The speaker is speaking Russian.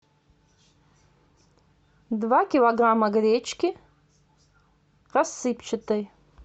два килограмма гречки рассыпчатой